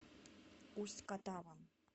усть катавом